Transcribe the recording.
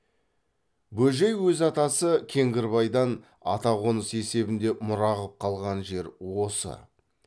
бөжей өз атасы кеңгірбайдан ата қоныс есебінде мұра қып қалған жер осы